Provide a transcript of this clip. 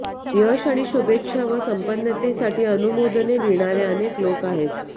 यश आणि शुभेच्छा व संपन्नतेसाठी अनुमोदने लिहिणारे अनेक लोक आहेत